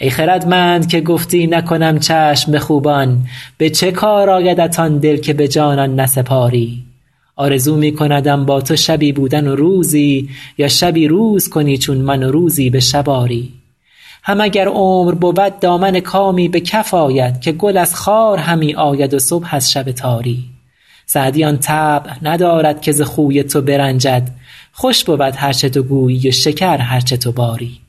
ای خردمند که گفتی نکنم چشم به خوبان به چه کار آیدت آن دل که به جانان نسپاری آرزو می کندم با تو شبی بودن و روزی یا شبی روز کنی چون من و روزی به شب آری هم اگر عمر بود دامن کامی به کف آید که گل از خار همی آید و صبح از شب تاری سعدی آن طبع ندارد که ز خوی تو برنجد خوش بود هر چه تو گویی و شکر هر چه تو باری